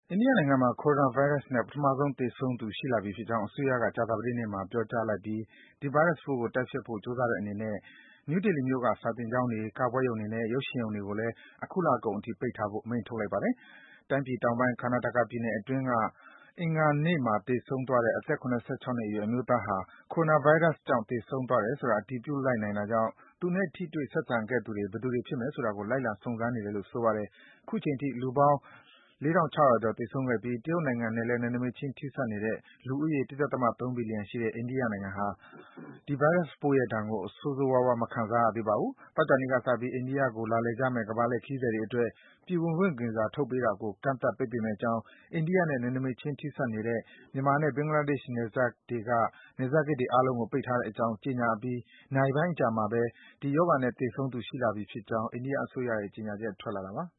အိန္ဒိယနိုင်ငံမှာ Coronavirus နဲ့ ပထမဆုံး သေဆုံးသူ ရှိလာပြီဖြစ်ကြောင်း အစိုးရက ကြာသပတေးနေ့မှာ ပြောကြားလိုက်ပြီး ဒီဗိုင်းရပ်စ်ပိုးကို တိုက်ဖျက်ဖို့ ကြိုးစားတဲ့အနေနဲ့ နယူးဒေလီမြို့က စာသင်ကျေင်းတွေ၊ ကပွဲရုံတွေနဲ့ ရုပ်ရှင်ရုံတွေကိုလည်း အခုလကုန်အထိ ပိတ်ထားဖို့ အမိန့် ထုတ်လိုက်ပါတယ်။ တိုင်းပြည်တောင်ပိုင်း Karnataka ပြည်နယ်အတွင်း အင်္ဂါနေ့က သေဆုံးသွားတဲ့ အသက် ၇၆ နှစ်အရွယ် အမျိုးသားဟာ Coronavirus သေဆုံးသွားတယ်ဆိုတာ အတည်ပြုလိုက်နိုင်တာကြောင့် သူနဲ့ ထိတွေ့ ဆက်ဆံခဲ့သူတွေ ဘယ်သူတွေဖြစ်မယ်ဆိုတာကို လိုက်လံ စုံစမ်းနေတယ်လို့ ဆိုပါတယ်။ အခုချိန်ထိ လူပေါင်း ၄,၆၀၀ ကျော် သေဆုံးခဲ့ပြီး တရုတ်နိုင်ငံနဲ့လည်း နယ်နိမိတ်ခြင်း ထိစပ်နေတဲ့ လူဦးရေ ၁.၃ ဘီလီယံရှိတဲ့ အိန္ဒိယနိုင်ငံဟာ အခုချိန်ဒီ ဒီဗိုင်းရပ်စ်ပိုးရဲ့ဒဏ်ကို ဆိုးဆိုးရွားရွား မခံစားရသေးပါဘူး။ သောကြာနေ့ကစပြီး အိန္ဒိယနိုင်ငံကို လာလည်ကြမယ့် ကမ္ဘာလှည့်ခရီးသည်တွေအတွက် ပြည်ဝင်ခွင့်ဗီဇာ ထုတ်ပေးတာကို ကန့်သတ် ပိတ်ပင်မယ့်အကြောင်းနဲ့ အိန္ဒိယနဲ့ နယ်နိမိတ်ခြင်း ထိစပ်နေတဲ့ မြန်မာနဲ့ ဘင်္ဂလားဒေ့ရှ်နိုင်ငံတွေက နယ်စပ်ဂိတ်တွေအားလုံးကို ပိတ်ထားတဲ့အကြောင်း ကြေညာအပြီး နာရီပိုင်းအကြာမှာဘဲ ဒီရောဂါနဲ့ သေဆုံးသူ ရှိလာပြီဖြစ်ကြောင်း ကြေညာချက် ထွက်လာတာပါ။